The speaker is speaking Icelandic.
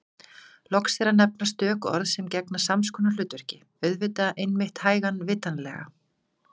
Loks er að nefna stök orð sem gegna sams konar hlutverki: auðvitað einmitt hægan vitanlega